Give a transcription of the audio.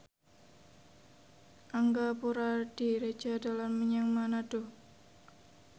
Angga Puradiredja dolan menyang Manado